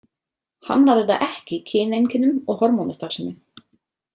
Hamlar þetta ekki kyneinkennum og hormónastarfsemi.